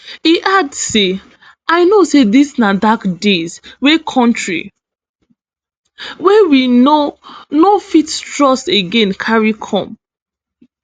e add say i know say dis na dark days wey kontri wey we no no fit trust again carry come